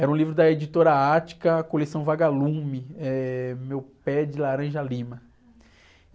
Era um livro da editora Ática, coleção Vagalume, eh, Meu Pé de Laranja Lima.